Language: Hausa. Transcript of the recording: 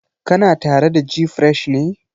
Kana tare da gfresh ne?